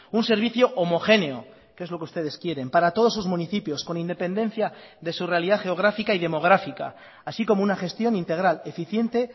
un servicio homogéneo que es lo que ustedes quieren para todos sus municipios con independencia de su realidad geográfica y demográfica así como una gestión integral eficiente